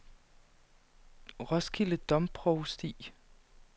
Roskilde Domprovsti